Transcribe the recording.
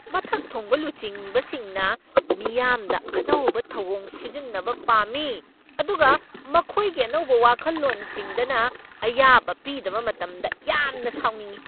ꯃꯊꯛ ꯊꯣꯡꯕ ꯂꯨꯆꯤꯡꯕꯁꯤꯡꯅ ꯃꯤꯌꯥꯝꯗ ꯑꯅꯧꯕ ꯊꯧꯑꯣꯡ ꯁꯤꯖꯤꯟꯅꯕ ꯄꯥꯝꯃꯤ ꯑꯗꯨꯒ ꯃꯈꯣꯏꯒꯤ ꯑꯅꯧꯕ ꯋꯥꯈꯜꯂꯣꯟꯁꯤꯡꯗꯅ ꯑꯌꯥꯕ ꯄꯤꯗꯕ ꯃꯇꯝꯗ ꯌꯥꯝꯅ ꯁꯥꯎꯅꯤꯡꯏ꯫